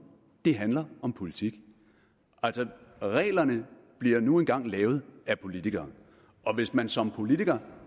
det handler om politik altså reglerne bliver nu engang lavet af politikere og hvis man som politiker